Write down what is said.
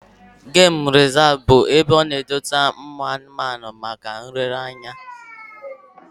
Gem rezav bụkwa ebe a na-edote ụmụ anụ maka nlere anya